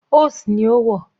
Ose ni ó wọ̀.